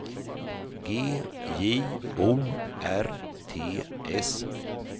G J O R T S